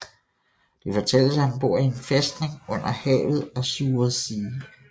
Det fortælles at han bor i en fæstning under havet Azure Sea